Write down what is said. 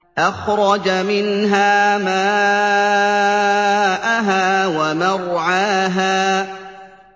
أَخْرَجَ مِنْهَا مَاءَهَا وَمَرْعَاهَا